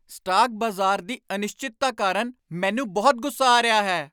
Stock ਬਾਜ਼ਾਰ ਦੀ ਅਨਿਸ਼ਚਿਤਤਾ ਕਾਰਨ ਮੈਨੂੰ ਬਹੁਤ ਗੁੱਸਾ ਆ ਰਿਹਾ ਹੈ!